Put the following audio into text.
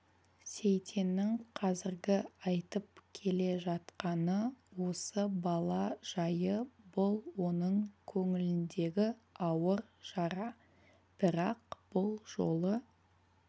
сейтеннің қазіргі айтып келе жатқаны осы бала жайы бұл оның көңіліндегі ауыр жара бірақ бұл жолы